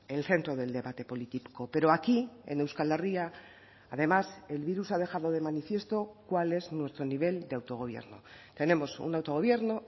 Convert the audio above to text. el centro del debate político pero aquí en euskal herria además el virus ha dejado de manifiesto cuál es nuestro nivel de autogobierno tenemos un autogobierno